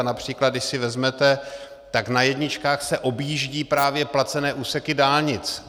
A například, když si vezmete, tak na jedničkách se objíždí právě placené úseky dálnic.